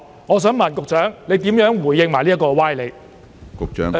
我想問局長如何回應這些歪理？